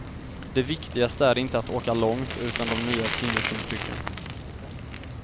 Det viktigaste är inte att åka långt, utan de nya sinnesintrycken.